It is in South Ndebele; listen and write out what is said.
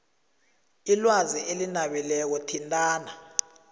ilwazi elinabileko thintana